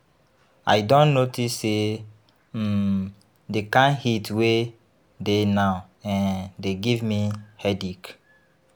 I don notice sey um di kind heat wey dey now um dey give me headache.